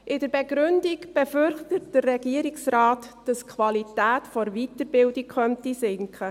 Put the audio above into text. In der Begründung befürchtet der Regierungsrat, dass die Qualität der Weiterbildung sinken könnte.